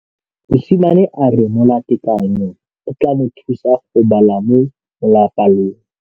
Mosimane a re molatekanyô o tla mo thusa go bala mo molapalong.